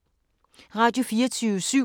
Radio24syv